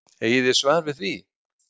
Eigið þið svar við því?